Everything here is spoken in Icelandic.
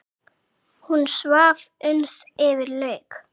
Hún svaf uns yfir lauk.